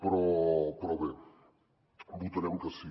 però bé votarem que sí